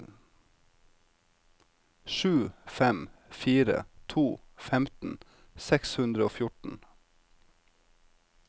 sju fem fire to femten seks hundre og fjorten